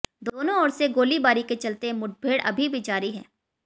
दोनों ओर से गोलीबारी के चलते मुठभेड़ अभी भी जारी है